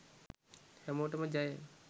හැමෝටම ජය